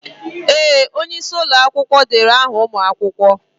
Ee! Onye isi ụlọ akwụkwọ derede aha ụmụ akwụkwọ.